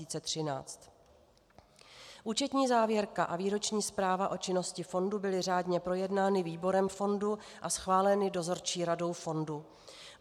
Účetní závěrka a výroční zpráva o činnosti fondu byly řádně projednány výborem fondu a schváleny dozorčí radou fondu.